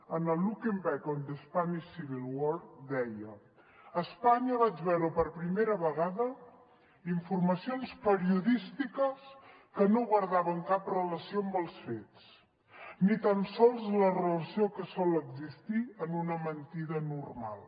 en el looking back on the spanish civil war deia a espanya vaig veure per primera vegada informacions periodístiques que no guardaven cap relació amb els fets ni tan sols la relació que sol existir en una mentida normal